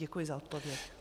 Děkuji za odpověď.